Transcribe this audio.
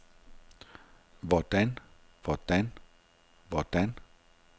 hvordan hvordan hvordan